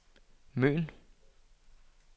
Møn